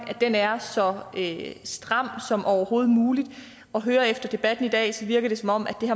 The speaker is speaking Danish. er så stram som overhovedet muligt at høre efter debatten i dag virker det som om